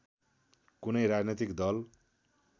कुनै राजनैतिक दल